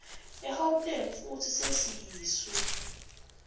egauteng futsi sesiyiswe